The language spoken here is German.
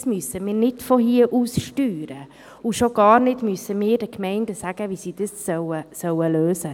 Dies müssen wir nicht von hier aus steuern, und wir müssen den Gemeinden schon gar nicht sagen, wie sie dies lösen sollen.